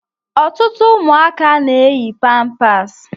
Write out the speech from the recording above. Ọtụtụ ụmụaka na-eyi pampaasi.